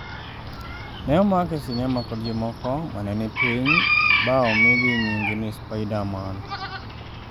ne omake e sinema kod jomoko ma ne ni piny ba omigi ng'ing ni "spiderman."